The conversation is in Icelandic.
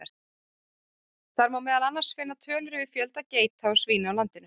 Þar má meðal annars finna tölur yfir fjölda geita og svína á landinu.